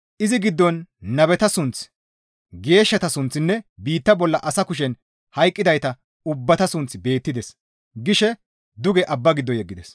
«Izi giddon nabeta sunththi, geeshshata sunththinne biitta bolla asa kushen hayqqidayta ubbata sunththi beettides» gishe duge abba giddo yeggides.